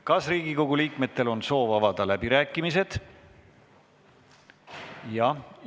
Kas Riigikogu liikmetel on soov avada läbirääkimised?